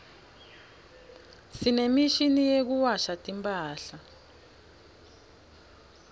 sinemishini yekuwasha timphadla